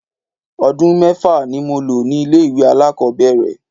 Odun mẹ́fà ni mo lò ní ilé ìwẹ̀ alákòbẹ̀rẹ̀.